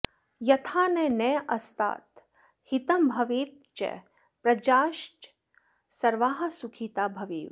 यथा न नस्तात हितं भवेच्च प्रजाश्च सर्वाः सुखिता भवेयुः